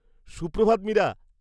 Suprabhat, Meera.